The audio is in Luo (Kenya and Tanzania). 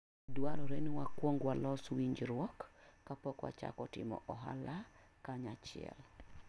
Dwarore ni wakwong walos winjruok kapok wachako timo ohala kanyachiel.